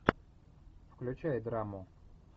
включай драму